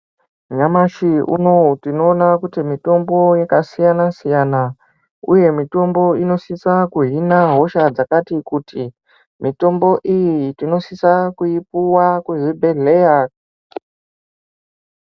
Nyamashi unouwu tinoona kuti mitombo yakasiyana siyana uye mwitombo inosise kuhina hosha dzakati kuti. Mitombo iyi tinosisa kuipuwa kuzvibhedhleya.